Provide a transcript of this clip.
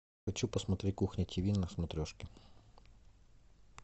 хочу посмотреть кухня тиви на смотрешке